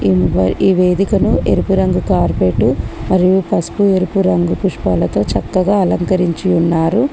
ఈ వేదికను ఎరుపు రంగు కార్పేట్ మరియు పసుపు ఎరుపు రంగు పుష్పాలతో చక్కగా అలంకరించి ఉన్నారు.